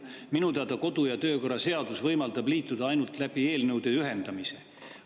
Minu teada kodu‑ ja töökorra seadus võimaldab liituda ainult eelnõude ühendamise kaudu.